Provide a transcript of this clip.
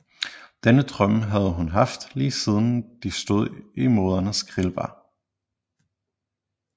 Denne drøm havde hun haft lige siden de stod i moderens grillbar